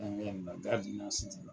An ye yɔrɔ min na k'a tun y'a